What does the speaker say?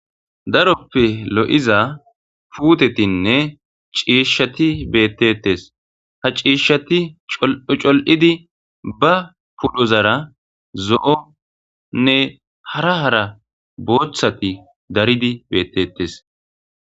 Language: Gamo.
daroppe lo7iza puutetinne ciishshati beettetes ha ciishshati col7idi ba pudhozara zo7onne hara hara booththati daridi beettettes